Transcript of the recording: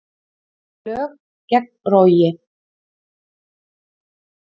Lög gegn rógi